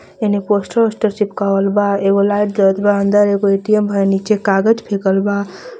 हेने पोशटर ओशटर चिपकावल बा एगो लाईट जलत बा अंदर एगो ए_टी_म है नीचे कागज़ फेकल बा.